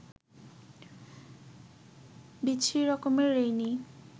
বিচ্ছিরি রকমের রেইনি